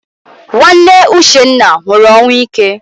Nwanne Uchenna nwụrụ ọnwụ ike.